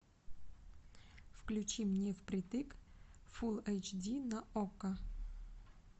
включи